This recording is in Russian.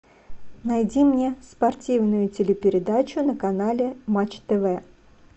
найди мне спортивную телепередачу на канале матч тв